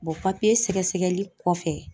sɛgɛsɛgɛli kɔfɛ